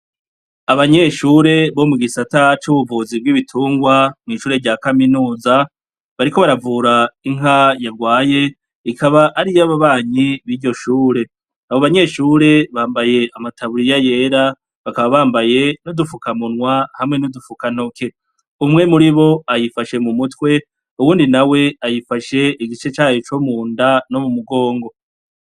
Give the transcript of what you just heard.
Abanyeshure bo mu gisata c'ubuvuzi bw'ibitungwa mw'ishure rya kaminuza bariko baravura inka yarwaye, ikaba ari iy'ababanyi b'iryo shure, abo banyeshure bambaye amataburiya yera bakaba bambaye n'udufukamunwa hamwe n'udufukantoke, umwe muri bo ayifashe mu mutwe uwundi nawe ayifashe igice cayo co mu nda no mu mugongo.